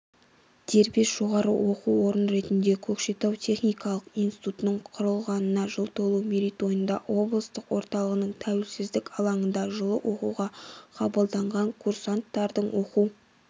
дербес жоғары оқу орын ретінде көкшетау техникалық институтының құрылғанына жыл толуы мерейтойында облыс орталығының тәуелсіздік алаңында жылы оқуға қабылданған курсанттардың оқу